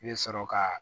I bɛ sɔrɔ ka